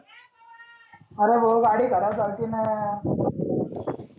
आरे भो गाडी खराब झालतींना.